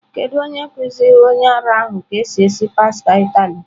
Kedu onye kuziri onye ara ahụ ka esi esi pasta Italy?